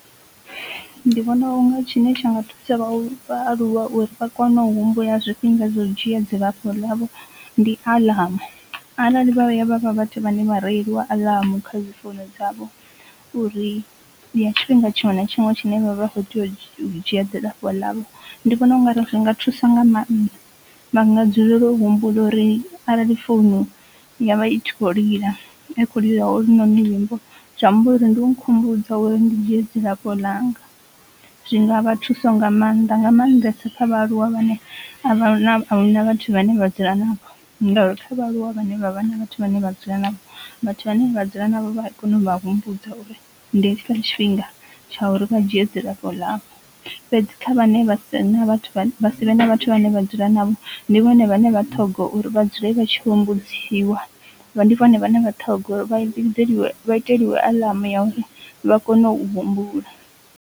Ndi vhona unga tshine tsha nga thusa vha aluwa uri vha kone u humbudza zwifhinga zwa u dzhia dzilafho ḽavho ndi aḽamu arali vha vhuya vhavha vhathu vha ne vha rieliwa aḽamu kha dzi founu dzavho uri ndi ya tshifhinga tshiṅwe na tshiṅwe tshine vha kho tea u dzhia dzilafho ḽavho. Ndi vhona ungari zwi nga thusa nga mannḓa vha nga dzulele humbula uri arali founu yavha i kho lila I kho lila ho lu noni luimbo zwi amba uri ndi u nkhumbudza uri ndi dzhia dzilafho langa, zwi nga vha thuso nga maanḓa nga maanḓesa kha vhaaluwa vhane a vha na a hu na vhathu vhane vha dzula navho, ngauri hu na vhaaluwa vhane vhavha na vhathu vhane vha dzula navho vhathu vhane vha dzula navho vha kona u vha humbudza uri ndi hetshi tshifhinga tsha uri vha dzhia dzilafho ḽavho fhedzi kha vhane vha si vhe na vhathu vha si vhe na vhathu vhane vha dzula navho. Ndi vhone vhane vha ṱhoga uri vha dzule vha tshi humbudziwa vha ndi vhone vhane vha ṱhoga uri vha iteliwe vha iteliwe aḽamu uri vha kone u humbula.